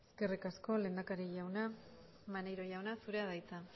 eskerrik asko lehendakari jauna maneiro jauna zurea da hitza